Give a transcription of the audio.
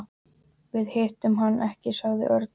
Við hittum hann ekki sagði Örn.